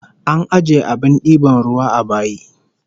An ajiye abin diban ruwa a bayi